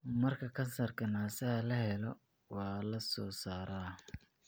Marka kansarka naasaha la helo, waa la soo saaraa.